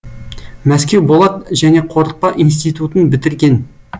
мәскеу болат және қорытпа институтын бітірген